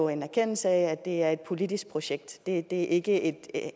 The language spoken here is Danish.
en erkendelse af at det er et politisk projekt det er ikke et